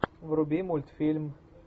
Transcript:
вруби мультфильм